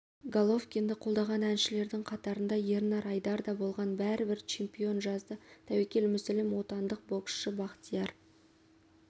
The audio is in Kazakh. головкинді қолдаған әншілердің қатарында ернар айдар да болған бәрібір чемпион жазды тәуекел мүсілім отандық бокшсы бақтияр